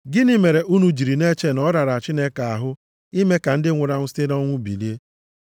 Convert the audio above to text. Gịnị mere unu jiri na-eche na ọ rara Chineke ahụ ime ka ndị nwụrụ anwụ site nʼọnwụ bilie?